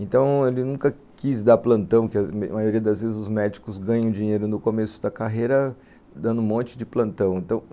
Então, ele nunca quis dar plantão, que a maioria das vezes os médicos ganham dinheiro no começo da carreira dando um monte de plantão, então,